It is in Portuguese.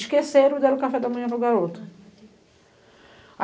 Esqueceram e deram o café da manhã para o garoto. A meu deus